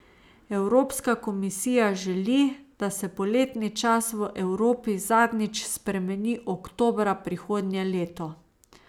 Evropska komisija želi, da se poletni čas v Evropi zadnjič spremeni oktobra prihodnje leto.